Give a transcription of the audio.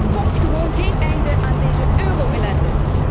Er komt gewoon geen einde aan deze euro ellende.